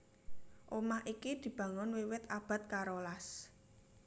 Omah iki dibangun wiwit abad karolas